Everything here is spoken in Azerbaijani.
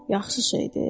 Yaxşı şeydi?